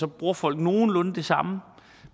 bruger folk nogenlunde det samme